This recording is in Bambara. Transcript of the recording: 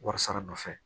Wari sara nɔfɛ